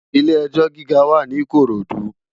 Ilé èjò gigá wá ni Ikorodu